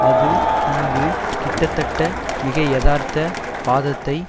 அது இங்கு கிட்டத்தட்ட மிகையதார்த்த வாதத்தை